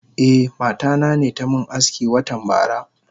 Eh mata nane tamin aski watan bara.